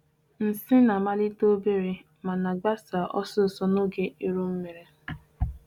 Ọrịa mmebi na-amalite obere obere ma na-agbasa ọsọ ọsọ n'oge e nwere chiorukpuru.